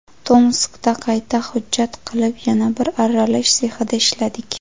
Tomskda qayta hujjat qilib, yana bir arralash sexida ishladik.